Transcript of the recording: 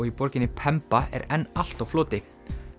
í borginni er enn allt á floti